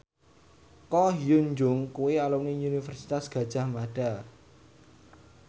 Ko Hyun Jung kuwi alumni Universitas Gadjah Mada